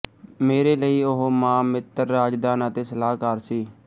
ਮੇਰੇ ਲਈ ਉਹ ਮਾਂ ਮਿੱਤਰ ਰਾਜਦਾਨ ਅਤੇ ਸਲਾਹਕਾਰ ਸੀ